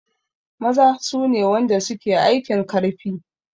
Maza sune wanda suke aikin karfi